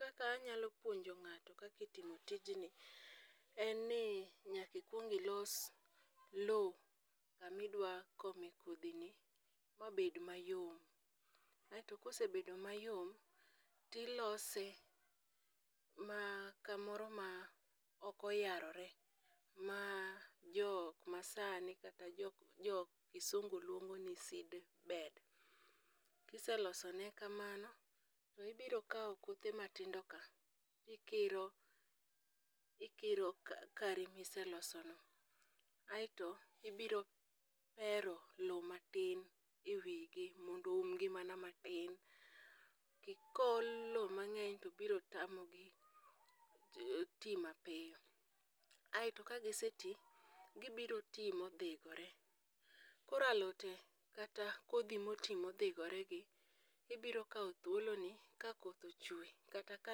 Kaka anyalo puonjo ng'ato kaka itimo tijni, en ni nyaka ikwong ilos lowo kama idwa kome kodhini mabet mayo, kosebedo mayom, tilose kamoro ma ok oyarore ,ma jo masani kata jok kisungu luongoni seedbed. Kiselosone kamano, tibiro kawo kothe matindoka ,ikiro kare miselosoni, aeto ibiro hero lowo matin e wi gi mondo oumgi mana matin. Kool lowo mang'eny to biro tamogi ti mapiyo, aeto ka giseti, gibiro ti modhigore, koro alode kata kodhi moti modhigoregi, ibiro kawo thuoloni kakoth ochwe kata ka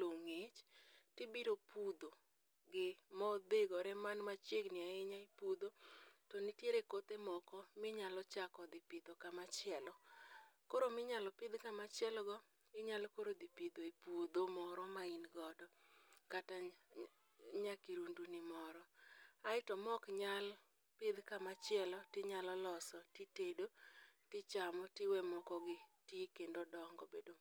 lowo ng'ich, tibiro pudhogi modhigore, man machigni ahinya, ipudho, to nitiere kothe moko minyalo chako dhi pidho kamachielo, koro minyalo pidh kamachielogo inyalo koro dhi pidho e puodho moro ma in godo, kata nyapuodhoni moro, aeto mok nyal pidh kamachielo, tinyalo loso titedo tichamo tiwe moko gi ti kendo dongo bendo.